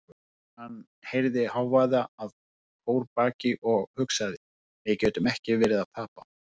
Hann heyrði hávaða að kórbaki og hugsaði: við getum ekki verið að tapa.